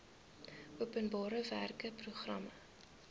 openbare werke programme